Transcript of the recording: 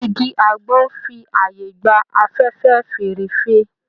Igi àgbọn n fi ààyè gba afẹ́fẹ́ fẹ́ẹ́rẹ́fẹ́.